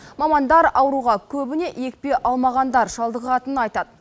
мамандар ауруға көбіне екпе алмағандар шалдығатынын айтады